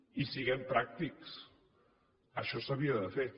i siguem pràctics això s’havia de fer